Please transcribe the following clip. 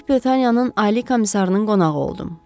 Böyük Britaniyanın ali komissarının qonağı oldum.